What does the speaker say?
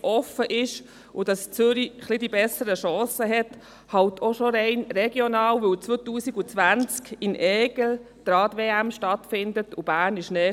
offen sind und dass Zürich ein wenig bessere Chancen hat, auch schon rein regional, weil die Rad-WM 2020 in Aigle stattfindet und Bern näher liegt.